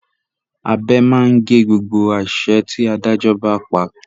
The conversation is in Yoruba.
Abẹ máa ń gé gbogbo àṣẹ tí Adájọ́ bá pa